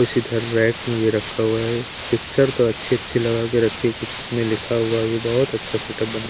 कुछ इधर रैक में भी रखा हुआ है पिक्चर तो अच्छी-अच्छी लगा के रखी कुछ इसमें लिखा हुआ भी बहुत अच्छा सेटअप बना--